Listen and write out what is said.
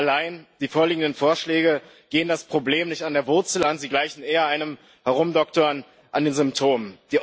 Allein, die vorliegenden Vorschläge gehen das Problem nicht an der Wurzel an sie gleichen eher einem Herumdoktern an den Symptomen.